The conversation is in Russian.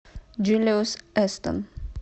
джулиус эстон